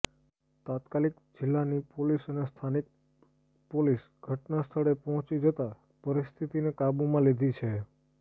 તાત્કાલિક જિલ્લાની પોલીસ અને સ્થાનિક પોલીસ ઘટનાસ્થળે પહોંચી જતાં પરિસ્થિતિને કાબૂમાં લીધી છે